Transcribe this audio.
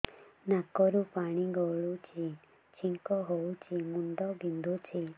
ନାକରୁ ପାଣି ଗଡୁଛି ଛିଙ୍କ ହଉଚି ମୁଣ୍ଡ ବିନ୍ଧୁଛି